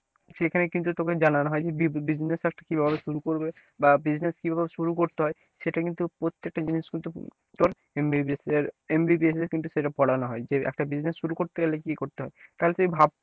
সেখানে কিন্তু তোকে জানানো হয় যে তুই business টা কিভাবে শুরু করবে বা business কিভাবে শুরু করতে হয় সেটা কিন্তু প্রত্যেকটা জিনিস কিন্তু তোর MBBS এ কিন্তু সেটা পড়ানো হয় যে একটা business শুরু করতে গেলে কি করতে হয় তাহলে তুই ভাব,